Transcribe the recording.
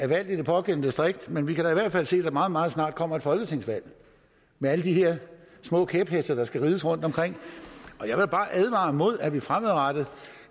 valgt i det pågældende distrikt men vi kan da i hvert fald se at der meget meget snart kommer et folketingsvalg med alle de her små kæpheste der skal rides rundtomkring og jeg vil bare advare mod at vi fremadrettet